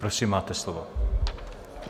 Prosím, máte slovo.